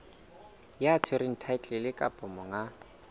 ya tshwereng thaetlele kapa monga